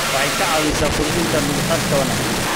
Waxay ka caawisaa kordhinta dulqaadka wanaagsan.